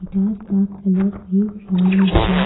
डार का कलर भी ब्राउन है।